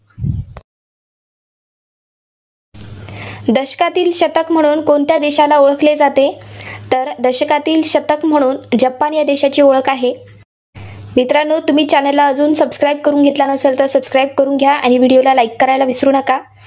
दशकातील शतक म्हणून कोणत्या देशाला ओळखले जाते? तर दशकातील शतक म्हणून जपान या देशाची ओळख आहे. मित्रांनो तुम्ही channel ला subscribe करून घेतलं नसेल तर subscribe करून घ्या. आणि video ला like करून घ्या. like करायला विसरू नका.